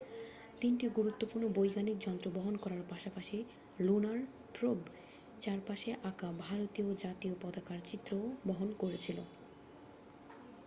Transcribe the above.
তিনটি গুরুত্বপূর্ণ বৈজ্ঞানিক যন্ত্র বহন করার পাশাপাশি লুনার প্রোব চারপাশে আঁকা ভারতীয় জাতীয় পতাকার চিত্রও বহন করেছিল